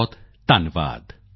ਬਹੁਤਬਹੁਤ ਧੰਨਵਾਦ